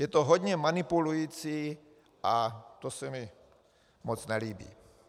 Je to hodně manipulující a to se mi moc nelíbí.